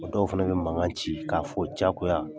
Mɛ dɔw fɛnɛ bɛ mankan ci k'a fɔ diyagoya